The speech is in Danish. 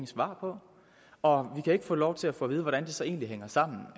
svar på og vi kan ikke få lov til at få at vide hvordan det så egentlig hænger sammen